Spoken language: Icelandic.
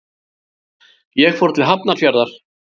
Ég fór til Hafnarfjarðar.